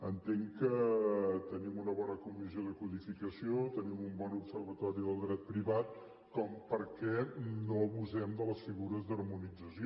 entenc que tenim una bona comissió de codificació tenim un bon observatori del dret privat perquè no abusem de les figures d’harmonització